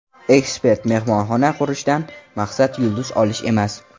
Ekspert: Mehmonxona qurishdan maqsad yulduz olish emas.